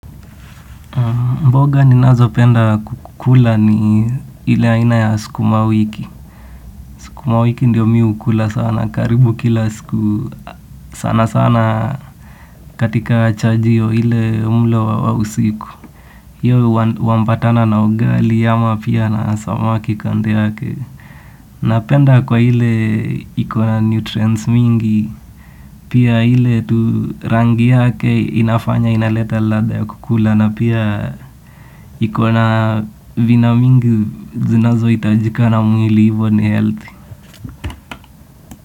Mboga ninazopenda kukula ni ile haina ya sukuma wiki. Sukuma wiki ndio mi hukula sana. Karibu kila siku sana sana katika chajio ile mlo wa usiku hiyo huambatana na ugali ama pia na samaki kando yake. Napenda kwa ile iko na nutrients mingi, pia ile tu rangi yake inafanya inaleta ladha ya kukula. Na pia iko na vina mingi zinazohitajika na mwili hivo ni healthy.